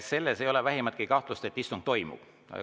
Selles ei ole vähimatki kahtlust, et istung toimub.